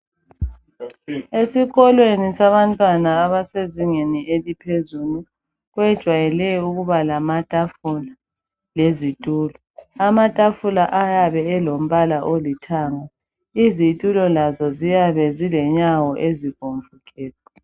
Esikolweni sabantwana abasezingeni eliphezulu kwejwayele ukuba lamatafula lezitulo. Amatafula ayabe elombala olithanga. Izitulo lazo ziyabe zilenyawo ezibomvu gebhu.